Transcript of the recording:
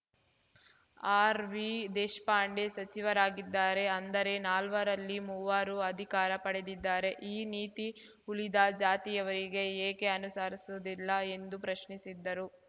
R V Deshpande ಸಚಿವರಾಗಿದ್ದಾರೆ ಅಂದರೆ ನಾಲ್ವರಲ್ಲಿ ಮೂವರು ಅಧಿಕಾರ ಪಡೆದಿದ್ದಾರೆ ಈ ನೀತಿ ಉಳಿದ ಜಾತಿಯವರಿಗೆ ಏಕೆ ಅನುಸರಿಸುವುದಿಲ್ಲ ಎಂದು ಪ್ರಶ್ನಿಸಿದ್ದರು